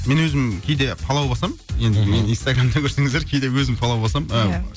мен өзім кейде палау басамын енді мен инстагарамда көрсеңіздер кейде өзім палау басам иә